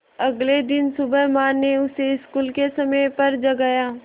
अगले दिन सुबह माँ ने उसे स्कूल के समय पर जगाया